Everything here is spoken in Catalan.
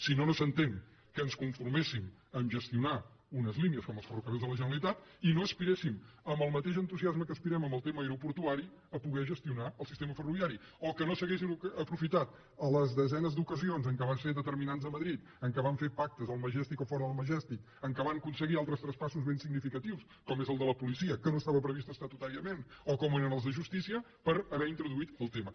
si no no s’entén que ens conforméssim a ges tionar unes línies com els ferrocarrils de la generalitat i no aspiréssim amb el mateix entusiasme amb què hi aspirem en el tema aeroportuari a poder gestionar el sistema ferroviari o que no s’haguessin aprofitat les desenes d’ocasions en què van ser determinants a madrid en què van fer pactes al majestic o fora del majestic en què van aconseguir altres traspassos ben significatius com és el de la policia que no estava previst estatutàriament o com eren els de justícia per haver introduït el tema